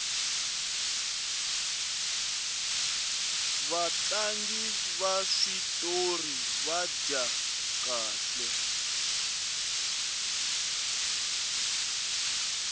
vatlangi va switori va dya kahle